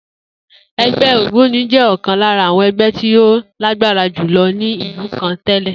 E̩gbé̩ ògbóni jé̩ ò̩kan lára àwo̩n e̩gbé̩ tí ó lágbára jùlo̩ ní ìlú kan té̩lè̩